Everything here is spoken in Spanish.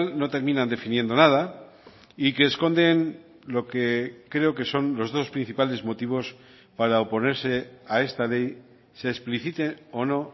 no terminan definiendo nada y que esconden lo que creo que son los dos principales motivos para oponerse a esta ley se explicite o no